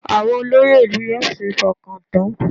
Àwọn olóyè ìlú yóò ṣeé fọkàn tán